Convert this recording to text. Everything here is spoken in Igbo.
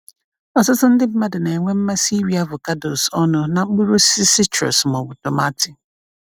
Ọtụtụ ndị mmadụ na-enwe mmasị iri avocados ọnụ na mkpụrụ osisi citrus ma ọ bụ tomati.